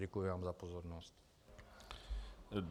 Děkuji vám za pozornost.